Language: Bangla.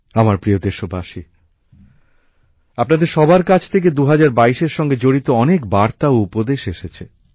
আমার প্রিয় দেশবাসী আপনাদের সবার কাছ থেকেই ২০২২ এর সঙ্গে জড়িত অনেক বার্তা ও উপদেশ এসেছে